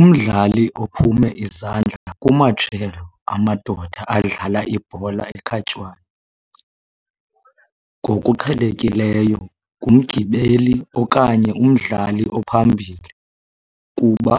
Umdlali ophume izandla kumajelo amadoda adlala ibhola ekhatywayo ngokuqhelekileyo ngumgibeli okanye umdlali ophambili, kuba